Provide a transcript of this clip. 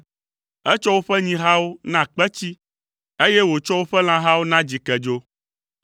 Etsɔ woƒe nyihawo na kpetsi, eye wòtsɔ woƒe lãhawo na dzikedzo.